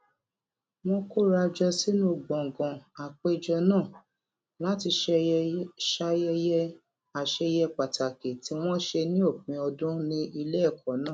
wón kóra jọ sínú gbòngàn àpéjọ náà láti ṣayẹyẹ àṣeyẹ pàtàkì tí wón ṣe ní òpin ọdún ilé èkó náà